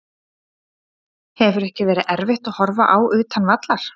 Hefur ekki verið erfitt að horfa á utan vallar?